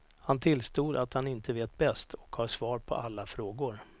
Han tillstod att han inte vet bäst och har svar på alla frågor.